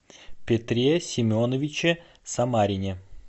петре семеновиче самарине